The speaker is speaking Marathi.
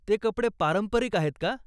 ते कपडे पारंपरिक आहेत का?